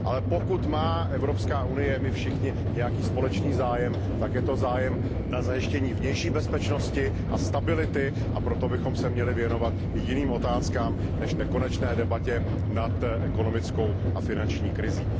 Ale pokud má Evropská unie a my všichni nějaký společný zájem, tak je to zájem na zajištění vnější bezpečnosti a stability, a proto bychom se měli věnovat i jiným otázkám než nekonečné debatě nad ekonomickou a finanční krizí.